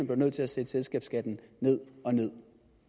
blev nødt til at sætte selskabsskatten ned og ned